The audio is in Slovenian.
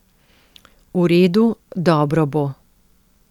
V redu, dobro bo.